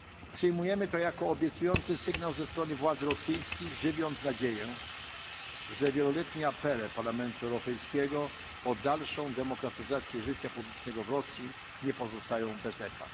Przyjmujemy to jako obiecujący sygnał ze strony władz rosyjskich, żywiąc nadzieję, że wieloletnie apele Parlamentu Europejskiego o dalszą demokratyzację życia publicznego w Rosji nie pozostają bez echa.